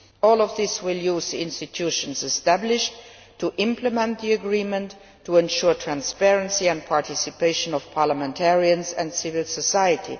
All of this will use the institutions established to implement the agreement to ensure transparency and the participation of parliamentarians and civil society.